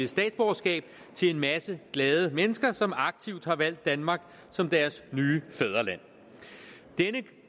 statsborgerskab til en masse glade mennesker som aktivt har valgt danmark som deres nye fædreland denne